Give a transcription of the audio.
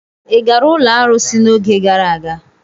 Ị gara ụlọ arụsị n'oge gara aga?